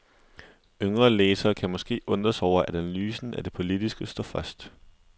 Yngre læsere kan måske undre sig over at analysen af det politiske står først.